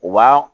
U b'a